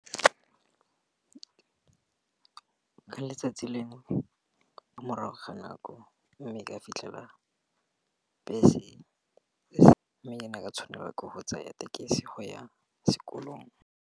Ka letsatsi lengwe ko morago ga nako, mme ka fitlhela bese mme ke ne ka tshwanelwa ke go tsaya tekesi go ya sekolong.